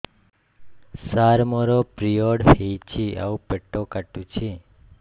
ସାର ମୋର ପିରିଅଡ଼ ହେଇଚି ଆଉ ପେଟ କାଟୁଛି